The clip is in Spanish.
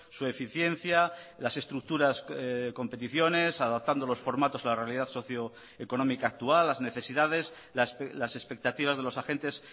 su eficiencia las estructuras competiciones adaptando los formatos a la realidad socioeconómica actual las necesidades las expectativas de los agentes